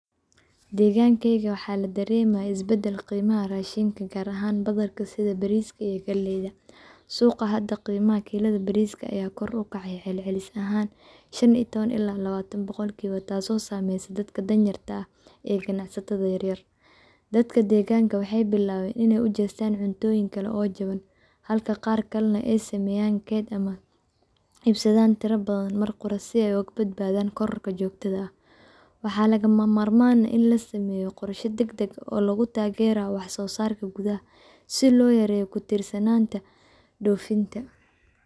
Deegankeeyga waxaa ladareemaya is badal qiimaha rashinka gaar ahaan badarka sida bariiska iyo galeeyda, suuqa hada qiimaha kilada bariiska ayuu kor ukace celcelis ahaan shan iyo taban ilaa labaatan boqol kiiba, taas oo saameyse dadka dan yarta ah ee ganacsatata yaryar, dadka deeganka waxeey bilaaben inaay ujeestaan cuntooyin kale oo jaban, halka qaar kalena aay sameeyaan keed ama iibsadaan tira badan mar qura si aay ooga badbaadan kororka joogtada ah, waxaa lagama maarmaan ah in lasameeyo qorsha dagdag ah oo lagu taagerayo wax soo saarka gudaha si loo yareeyo ku tiirsanaanta doofinta.